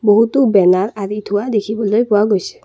বহুতো বেনাৰ আঁৰি থোৱা দেখিবলৈ পোৱা গৈছে।